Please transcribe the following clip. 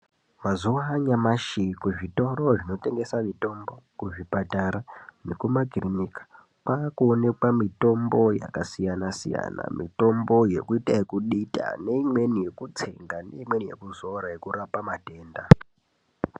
Mazuwa anyamashi kuzvitoro zvinotengesa mitombo kuzvipatara nekumakirinika kwakuonekwa mitombo yakasiyana siyana . Mitombo yekuita kudita neimweni yekutsenga neimweni yekuzora yekurapa matenda.